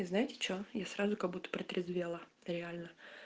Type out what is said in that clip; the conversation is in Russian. знаете что я сразу как будто протрезвела реально